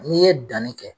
N'i ye danni kɛ